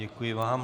Děkuji vám.